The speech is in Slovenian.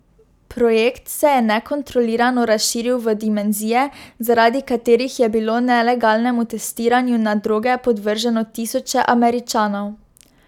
Projekt se je nekontrolirano razširil v dimenzije, zaradi katerih je bilo nelegalnemu testiranju na droge podvrženo tisoče Američanov.